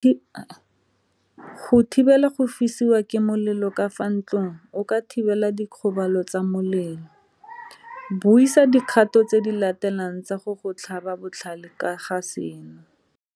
Go thibela go fisiwa ke molelo ka fa ntlong o ka thibela dikgobalo tsa molelo. Buisa dikgato tse di latelang tsa go go tlhaba botlhale ka ga seno.